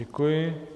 Děkuji.